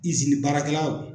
Izini baarakɛlaw.